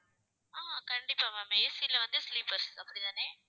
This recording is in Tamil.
அஹ் கண்டிப்பா ma'amAC ல வந்து sleepers அப்படித்தானே